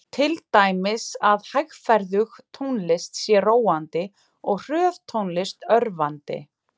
Til dæmis að hægferðug tónlist sé róandi og hröð tónlist örvandi.